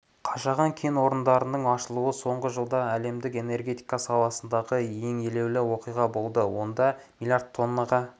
қашаған кен орнының ашылуы соңғы жылда әлемдік энергетика саласындағы ең елеулі оқиға болды онда млрд тоннаға